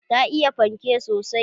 Ta iya fanke sosai